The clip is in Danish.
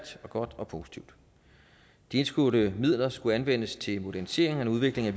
godt og positivt de indskudte midler skulle anvendes til en modernisering og en udvikling af